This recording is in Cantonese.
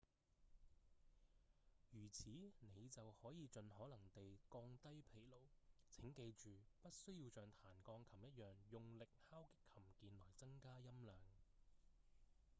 如此您就可以盡可能地降低疲勞請記住不需要像彈鋼琴一樣用力敲擊琴鍵來增加音量